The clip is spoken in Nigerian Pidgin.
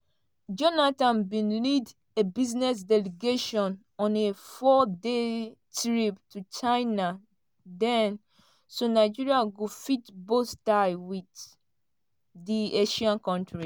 jonathan bin lead a business delegation on a four-day trip to china den so nigeria go fit boost ties wit di asian kontri.